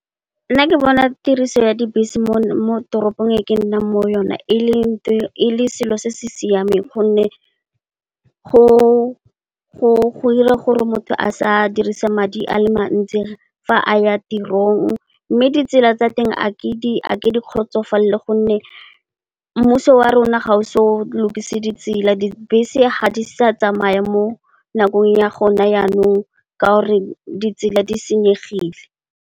Nna ke bona tiriso ya dibese mo toropong e ke nnang mo yona e le selo se se siameng gonne, go ira gore motho a sa dirisa madi a le mantsi fa a ya tirong. Mme, ditsela tsa teng a ke di kgotsofalele gonne, mmuso wa rona ga o se o lokise ditsela, dibese ga di sa tsamaya mo nakong ya gone yanong ka gore ditsela di senyegile.